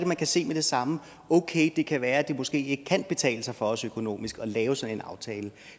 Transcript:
man kan se med det samme at okay det kan være at det måske ikke kan betale sig for os økonomisk at lave sådan en aftale